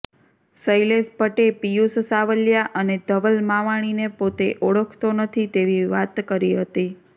શૈલેષ ભટ્ટે પિયુષ સાવલિયા અને ધવલ માવાણીને પોતે ઓળખતો નથી તેવી વાત કરી હતી